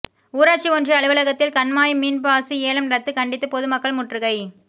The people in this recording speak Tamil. ஊராட்சி ஒன்றிய அலுவலகத்தில் கண்மாய் மீன்பாசி ஏலம் ரத்து கண்டித்து பொதுமக்கள் முற்றுகை